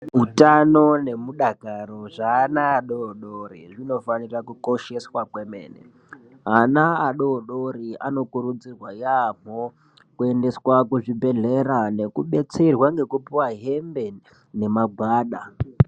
Utano nemudakaro hweana adodori zvinofana kukosheswa kwemene. Ana adodori anokuridzirwa yaamho kuendeswa kuzvibhehlera nekudetserwa nekupuwa hembe nemagwada.